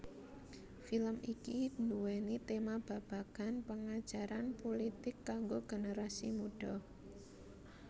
Film iki duwéni tema babagan pengajaran pulitik kanggo generasi mudha